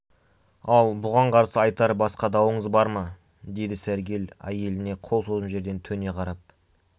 ал бұған қарсы айтар басқа дауыңыз бар ма деді сәргел әйеліне қол созым жерден төне қарап